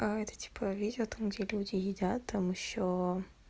а это типа видео там где люди едят там ещё